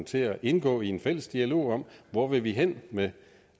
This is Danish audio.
til at indgå i en fælles dialog om hvor vi vil hen med